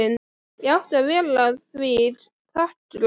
Ég átti að vera því þakklát.